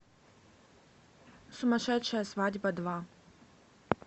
сумасшедшая свадьба два